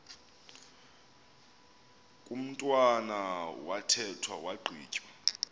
komntwana wathethwa wagqitywa